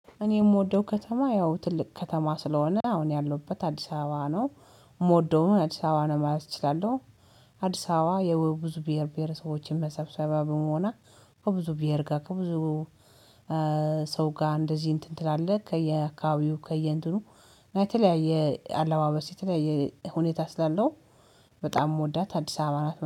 እኔ የምወደው ከተማ ያው ትልቅ ከተማ ስለሆነ አሁን ያለውበት አዲስ አበባ ነው የምወደው አዲስ አበባ ነው ማለት እችላለሁ። አዲስ አበባ የብዙ ብሄር ብሄረሰቦችን መሰብሰቢያ በመሆነቀ ከብዙ ብሄር ጋር ከብዙ ሰው ጋር እንደዚህ እንትን ትላለህ ከየአካባቢው ከየእንትኑ እናየተለያየ አለባበስ የተለያየ ሁኔታ ስላለው በጣም የምወዳት አዲስ አበባ ናት